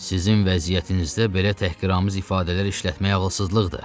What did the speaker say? Sizin vəziyyətinizdə belə təhqiramiz ifadələr işlətmək ağılsızlıqdır.